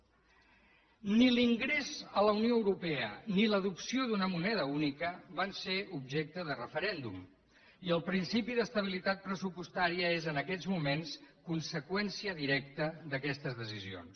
ni l’ingrés a la unió europea ni l’adopció d’una moneda única van ser objecte de referèndum i el principi d’estabilitat pressupostària és en aquests moments conseqüència directa d’aquestes decisions